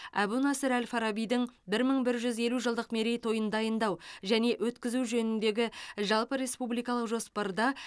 әбу насыр әл фарабидің бір мың бір жүз елу жылдық мерейтойын дайындау және өткізу жөніндегі жалпыреспубликалық жоспарда